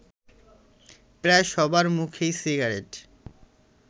প্রায় সবার মুখেই সিগারেট